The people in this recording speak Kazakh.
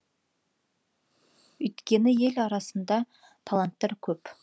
өйткені ел арасында таланттар көп